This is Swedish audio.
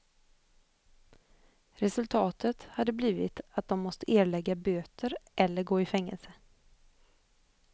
Resultatet hade blivit att de måste erlägga böter eller gå i fängelse.